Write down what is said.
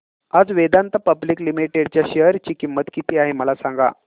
आज Vedanta public limited च्या share ची किंमत किती आहे मला सांगा